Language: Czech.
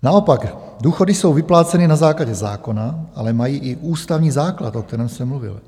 Naopak důchody jsou vypláceny na základě zákona, ale mají i ústavní základ, o kterém jsem mluvil.